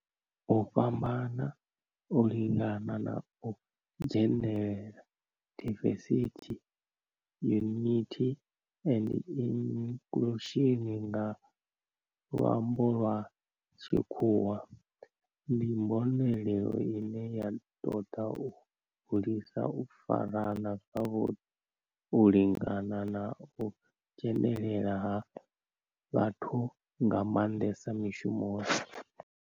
U fhambana, u lingana na u dzhenelela diversity, equity and inclusion nga lwambo lwa tshikhuwa ndi mbonelelo ine ya toda u hulisa u farana zwavhudi u lingana na u dzhenelela ha vhathu nga mandesa mishumoni.